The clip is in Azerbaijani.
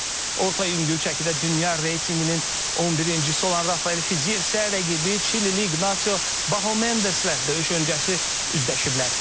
Orta yüngül çəkidə dünya reytinqinin 11-cisi olan Rafael Fiziyev isə rəqibi Çilili İqnasio Bahamendeslə döyüş öncəsi üzləşiblər.